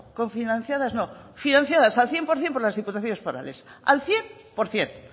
cofinanciadas no financiadas al cien por ciento por las diputaciones forales al cien por ciento